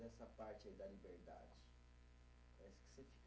Dessa parte aí da liberdade, parece que você fica